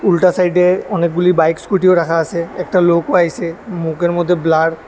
উল্টা সাইড এ অনেকগুলি বাইক স্কুটি ও রাখা আসে একটা লোকও আইসে মুখের মধ্যে ব্লার --